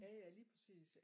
Jaja lige præcis ja